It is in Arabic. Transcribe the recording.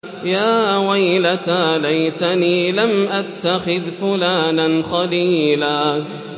يَا وَيْلَتَىٰ لَيْتَنِي لَمْ أَتَّخِذْ فُلَانًا خَلِيلًا